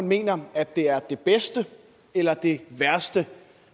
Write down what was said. mener at det er det bedste eller det værste